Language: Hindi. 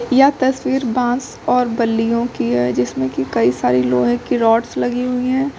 यह तस्वीर बांस और बल्लियों की है जिसमें की कई सारे लोहे की रॉड्स लगी हुई है।